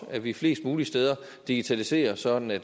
at vi flest mulige steder digitaliserer sådan at